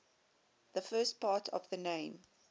the first part of the name